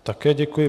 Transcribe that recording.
Také děkuji.